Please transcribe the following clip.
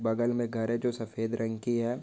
बगल में घर है जो सफेद रंग की है।